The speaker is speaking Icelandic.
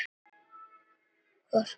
Hvoruga þeirra.